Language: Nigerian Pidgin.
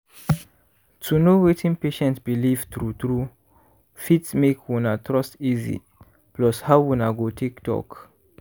to know wetin patient belief true true fit make una trust easy plus how una go take talk